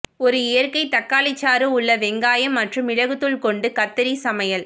ஒரு இயற்கை தக்காளி சாறு உள்ள வெங்காயம் மற்றும் மிளகுத்தூள் கொண்டு கத்தரி சமையல்